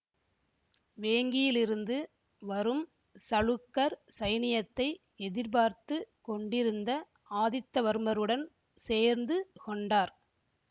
வேங்கியிலிருந்து வரும் சளுக்கர் சைனியத்தை எதிர்பார்த்து கொண்டிருந்த ஆதித்தவர்மருடன் சேர்ந்து கொண்டார்